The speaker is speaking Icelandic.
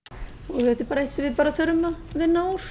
þetta er bara eitt sem við þurfum að vinna úr